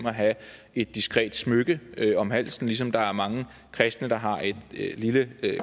at have et diskret smykke om halsen ligesom der er mange kristne der har et lille